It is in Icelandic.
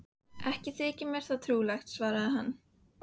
Ekki þykir mér það trúlegt, svarar hann.